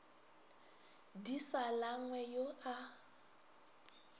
di sa langwe yo a